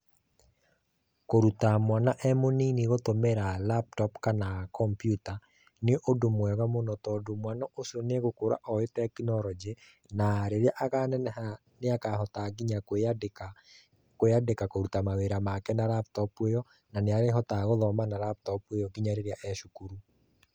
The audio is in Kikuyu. Kũruta mwana e mũnini kũtũmĩra laptop kana kompiuta nĩ ũndũ mwega mũno tondũ mwana ũcio nĩegũkũra owĩ tekinoronjĩ na rĩrĩa akaneneha nĩ akahota nginya kwĩyandĩka kũruta mawĩra make na laptop ĩyo na nĩ arĩhotaga gũthoma na laptop ĩyo ngĩnya rĩrĩa e cukuru.